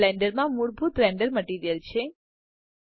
આ બ્લેન્ડર માં મૂળભૂત રેન્ડર મટીરીઅલ છે